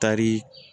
Tari